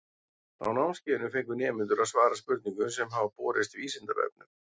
Á námskeiðinu fengu nemendur að svara spurningum sem hafa borist Vísindavefnum.